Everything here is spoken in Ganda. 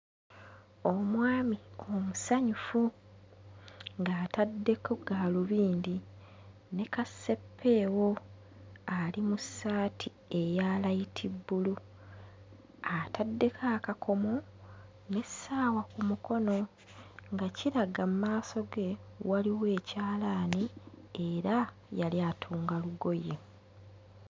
Omwami omusanyufu ng'ataddeko gaalubindi ne kaseppeewo ali mu ssati eya layitibbulu ataddeko akakomo n'essaawa ku mukono nga kiraga mu maaso ge waliwo ekyalaani era yali atunga lugoye.